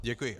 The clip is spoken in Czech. Děkuji.